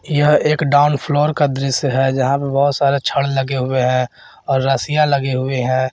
यह एक down floor का दृश्य है जहां पे बहुत सारे छड़ लगे हुए हैं और रसिया लगे हुए हैं।